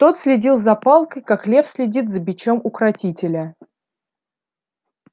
тот следил за палкой как лев следит за бичом укротителя